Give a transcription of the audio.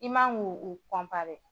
I man k'o o o